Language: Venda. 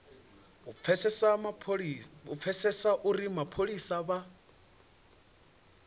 u pfesesa uri mapholisa vha